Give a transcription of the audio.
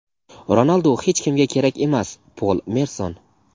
Ronaldu hech kimga kerak emas – Pol Merson.